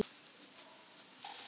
Mér létti þegar hann sagði þetta.